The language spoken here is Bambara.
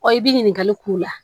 Ɔ i bɛ ɲininkali k'u la